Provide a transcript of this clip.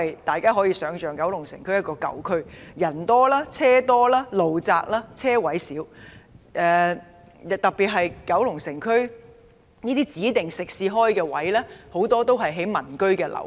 大家都可以想象，九龍城區是一個舊區，人多車多、道路狹窄、車位數量又少，特別是區內很多指定食肆都開設在民居樓下。